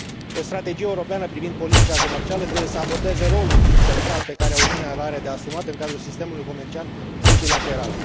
O strategie europeană privind politica comercială trebuie să abordeze rolul central pe care Uniunea îl are de asumat în cadrul sistemului comercial multilateral.